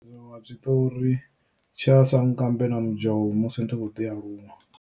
Zwiṅwe zwitori tsha sankambe na mudzhou musi ndi tshi khou ḓi aluwa.